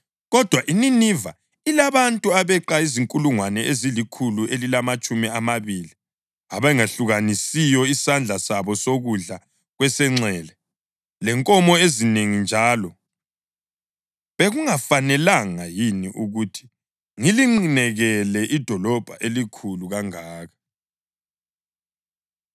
Kodwa iNiniva ilabantu abeqa izinkulungwane ezilikhulu elilamatshumi amabili abangehlukanisiyo isandla sabo sokudla kwesenxele, lenkomo ezinengi njalo. Bekungafanelanga yini na ukuthi ngilinqinekele idolobho elikhulu kangaka?”